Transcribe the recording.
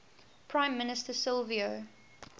prime minister silvio